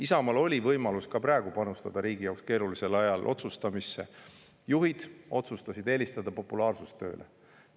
Isamaal oli võimalus ka praegu, riigi jaoks keerulisel ajal, panustada otsustamisse, aga juhid otsustasid eelistada populaarsust tööle.